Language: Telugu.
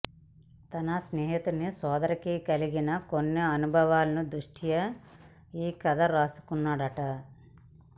తన స్నేహితుడి సోదరికి కలిగిన కొన్ని అనుభవాల దృష్ట్యా ఈ కథ రాసుకున్నాడట